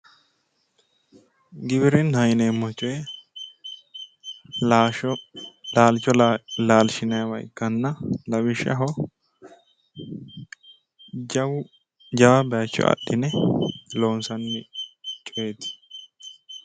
Giwirinnaho yineemmo coyi laalicho laashinanniha ikkanna lawishshaho jawu, jawa bayicho adhine loonsanni coyiti.